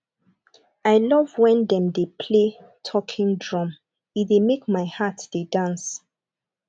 i love wen dem dey play talking drum e dey make make my heart dey dance